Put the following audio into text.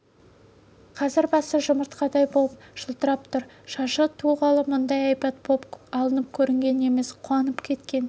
қазір басы жұмыртқадай боп жылтырап тұр шашы туғалы мұндай әйбат боп алынып көрген емес қуанып кеткен